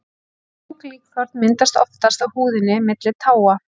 mjúk líkþorn myndast oftast á húðinni milli táa